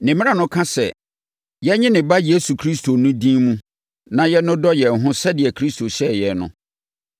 Ne mmara no ka sɛ, yɛnnye ne Ba Yesu Kristo no din mu na yɛnnodɔ yɛn ho sɛdeɛ Kristo hyɛɛ yɛn no.